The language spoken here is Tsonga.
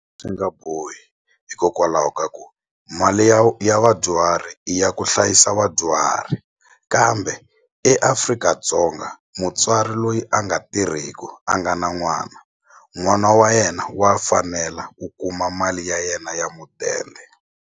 Swi nga bohi hikokwalaho ka ku mali ya ya vadyuhari i ya ku hlayisa vadyuhari kambe eAfrika-Dzonga mutswari loyi a nga tirhiku a nga na n'wana n'wana wa yena wa fanela ku kuma mali ya yena ya mudende.